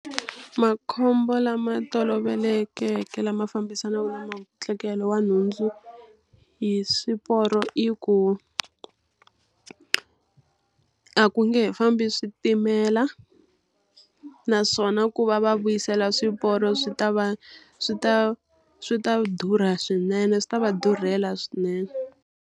Makhombo lama tolovelekeke lama fambisanaka na wa nhundzu hi swiporo i ku, a ku nge he fambi switimela. Naswona ku va va vuyisela swiporo swi ta va swi ta swi ta durha swinene swi ta va durhela swinene.